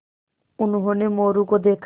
उन्होंने मोरू को देखा